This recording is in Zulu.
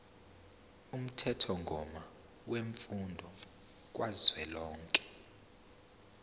umthethomgomo wemfundo kazwelonke